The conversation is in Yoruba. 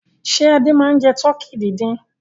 Ṣé Adé máa ń jẹ tọkí dídín?